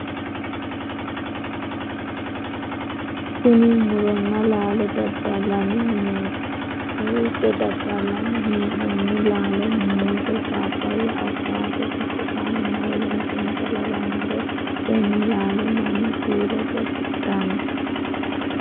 Kunni muronna laallo dadalanni mineeti. Kowiicho dadalanni hee'noonni laallo muuze, papaaya, awukaatto, burtukaanenna woleno insa lawanoreeti. Tenne laallo Manu kiilote hidhano.